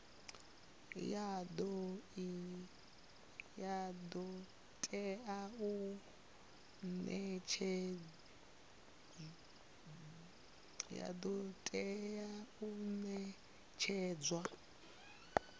ya do tea u netshedzwa